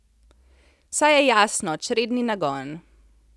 Saj je jasno, čredni nagon.